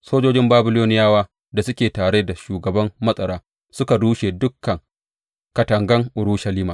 Sojojin Babiloniyawa da suke tare da shugaban matsara, suka rushe dukan katangan Urushalima.